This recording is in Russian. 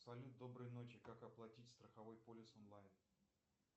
салют доброй ночи как оплатить страховой полис онлайн